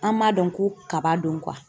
An m'a dɔn ko kaba don